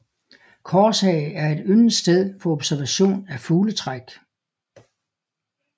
Korshage er et yndet sted for observation af fugletræk